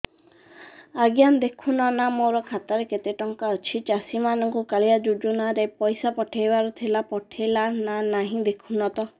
ଆଜ୍ଞା ଦେଖୁନ ନା ମୋର ଖାତାରେ କେତେ ଟଙ୍କା ଅଛି ଚାଷୀ ମାନଙ୍କୁ କାଳିଆ ଯୁଜୁନା ରେ ପଇସା ପଠେଇବାର ଥିଲା ପଠେଇଲା ନା ନାଇଁ ଦେଖୁନ ତ